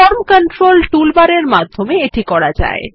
form control toolbar এর মাধ্যমে এটি করা যায়